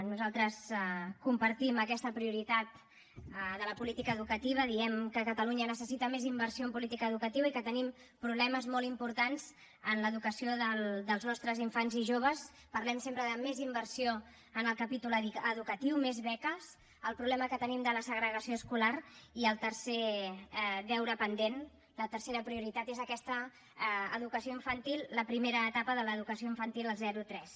nosaltres compartim aquesta prioritat de la política educativa diem que catalunya necessita més inversió en política educativa i que tenim problemes molt importants en l’educació dels nostres infants i joves parlem sempre de més inversió en el capítol educatiu més beques el problema que tenim de la segregació escolar i el tercer deure pendent la tercera prioritat és aquesta educació infantil la primera etapa de l’educació infantil el zero tres